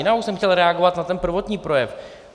Já už jsem chtěl reagovat na ten prvotní projev.